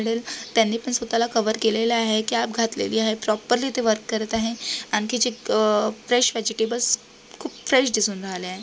त्यांनी पण स्वतः ला कवर केलेले आहे कॅप घातलेली आहे प्रोपरली ते वर्क करत आहे आणखी चिक फ्रेश वेजीटेबल्स खूप फ्रेश दिसून राहीले आहे.